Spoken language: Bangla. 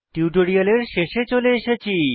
টিউটোরিয়ালের শেষে চলে এসেছি